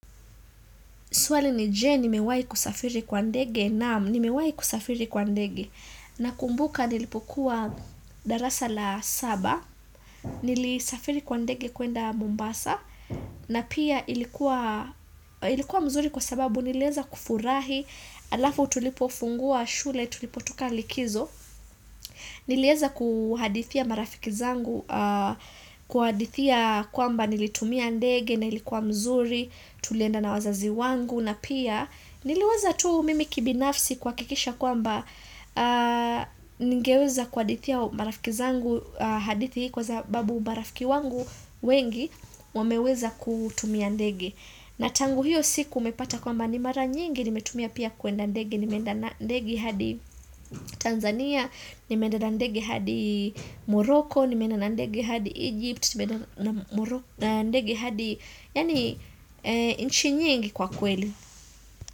Swali ni je, nimewai kusafiri kwa ndege na nimewai kusafiri kwa ndege. Na kumbuka nilipokuwa darasa la saba, nilisafiri kwa ndege kuenda Mombasa, na pia ilikuwa mzuri kwa sababu nileza kufurahi, alafu tulipofungua shule, tulipotuka likizo. Nileza kuhadithia marafiki zangu, kuhadithia kwamba nilitumia ndege na ilikuwa mzuri, tulienda na wazazi wangu, na pia niliweza tuu mimi kibinafsi kwa kikisha kwa mba ningeweza kwa adithia marafiki zangu hadithi kwa zababu marafiki wangu wengi wameweza kutumia ndege na tangu hiyo siku umepata kwamba ni mara nyingi nimetumia pia kuenda ndege nimeenda ndege hadi Tanzania, nimenda ndege hadi Morocco, nimenda ndege hadi Egypt na ndege hadi yani inchi nyingi kwa kweli.